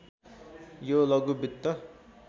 यो लघु वित्त